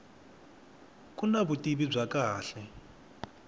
ku na vutivi bya kahle